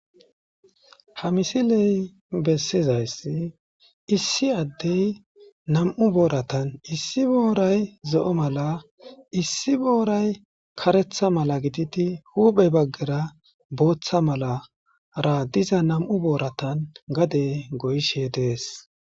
ha misiley bessizayss issi addey nam7u booratan issi booray zo7o mala issi booray karetha mala gididi huuphey baggera booththa malara diza nam7u booratan gade goyshe dees